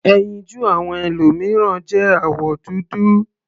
Ẹyinjú àwọn ẹlòmìíràn jẹ́ àwọ̀ dúdú.